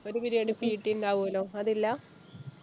ഒരു periodpt ണ്ടാവല്ലോ, അത് ഇല്ല?